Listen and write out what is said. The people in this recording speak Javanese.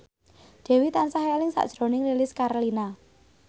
Dewi tansah eling sakjroning Lilis Karlina